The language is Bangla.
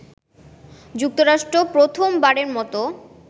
যুক্তরাষ্ট্র প্রথম বারের মত